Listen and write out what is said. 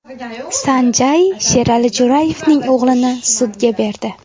San Jay Sherali Jo‘rayevning o‘g‘lini sudga berdi.